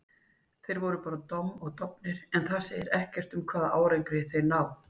Þeir voru bara domm og dofnir, en það segir ekkert um hvaða árangri þeir ná.